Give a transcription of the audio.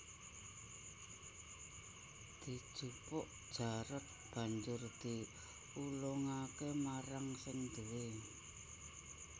Dijupuk Jarot banjur diulungake marang sing duwé